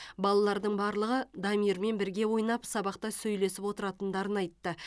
балалардың барлығы дамирмен бірге ойнап сабақта сөйлесіп отыратындарын айтты